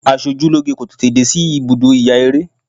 Asojúlóge kò tètè dé sí ibùdó ìyaeré.